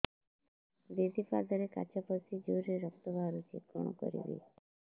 ଦିଦି ପାଦରେ କାଚ ପଶି ଜୋରରେ ରକ୍ତ ବାହାରୁଛି କଣ କରିଵି